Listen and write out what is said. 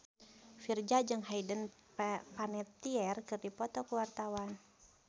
Virzha jeung Hayden Panettiere keur dipoto ku wartawan